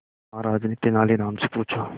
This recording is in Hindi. महाराज ने तेनालीराम से पूछा